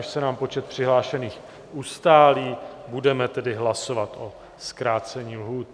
Až se nám počet přihlášených ustálí, budeme tedy hlasovat o zkrácení lhůt.